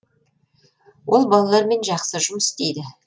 ол балалармен жақсы жұмыс істейді